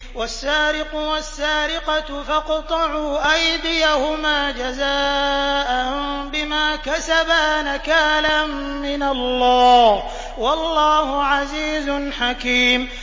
وَالسَّارِقُ وَالسَّارِقَةُ فَاقْطَعُوا أَيْدِيَهُمَا جَزَاءً بِمَا كَسَبَا نَكَالًا مِّنَ اللَّهِ ۗ وَاللَّهُ عَزِيزٌ حَكِيمٌ